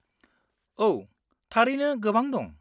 औ, थारैनो गोबां दं।